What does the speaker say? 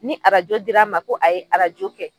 Ni arajo dir'a ma ko a ye arajo kɛ